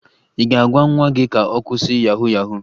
Ị ga-agwa nwa gị ka ọ kwụsị yahu yahu?